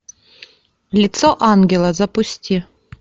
лицо ангела запусти